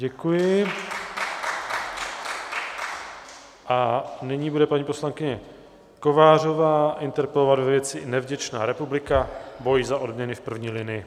Děkuji a nyní bude paní poslankyně Kovářová interpelovat ve věci nevděčná republika - boj za odměny v první linii.